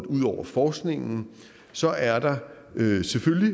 ud over forskningen og så er der selvfølgelig